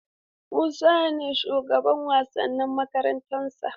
Musa ne shugaban wasanni a makarantarsa.